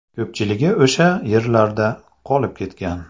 Ko‘pchiligi o‘sha yerlarda qolib ketgan.